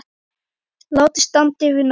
Látið standa yfir nótt.